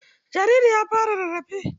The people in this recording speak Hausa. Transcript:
Jaririn ya fara rarrafe.